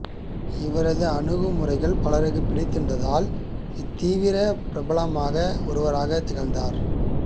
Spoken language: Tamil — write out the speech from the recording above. இவரது அணுகுமுறைகள் பலருக்கு பிடித்திருந்ததால் இத்தீவின் பிரபலமானவர்களில் ஒருவராகத் திகழ்கிறார்